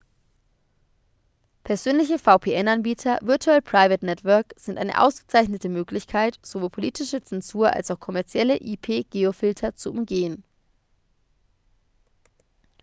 persönliche vpn-anbieter virtual private network sind eine ausgezeichnete möglichkeit sowohl politische zensur als auch kommerzielle ip-geofilter zu umgehen